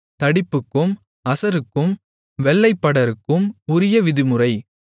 தடிப்புக்கும் அசறுக்கும் வெள்ளைப்படருக்கும் உரிய விதிமுறை